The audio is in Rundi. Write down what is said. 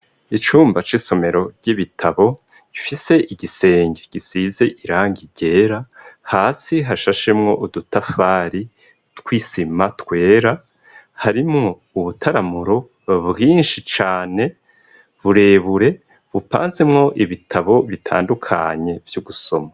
Icumba c'isomero ry'ibitabo gifise igisenge gisize irangi ryera hasi hashashemwo udutafari tw'isima twera, harimo ubutaramuro bwinshi cane burebure bupanzimwo ibitabo bitandukanye vyo gusoma.